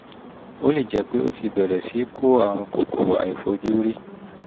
ó lè jẹ́ pé o ti bẹ̀rẹ̀ sí í kó àrùn kòkòrò àìfojúrí